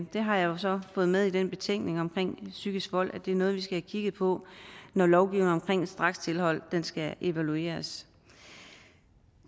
der har jeg jo så fået med i den betænkning om psykisk vold at det er noget vi skal have kigget på når lovgivningen om strakstilhold skal evalueres